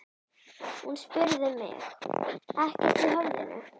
Hún spurði mig: ekkert í höfðinu?